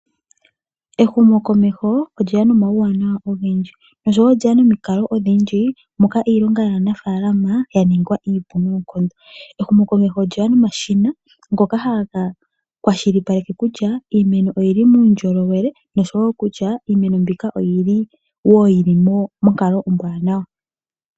Ehumokomeho olye ya nomauwanawa ogendji, osho wo olye ya nomikalo odhindji moka iilonga yaanafaalama ya ningwa iipu noonkondo. Ehumokomeho olye ya nomashina ngoka haga kwashilipaleke kutya iimeno oyi li muundjolowele noshowo kutya iimeno mbika oyi li wo monkalo ombwaanawa.